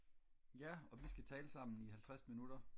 ja og vi skal tale sammen i halvtreds minutter